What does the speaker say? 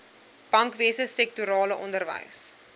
bankwese sektorale onderwys